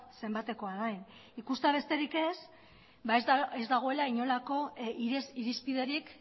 zenbatekoa den ikustea besterik ez dago ez dagoela inolako irizpiderik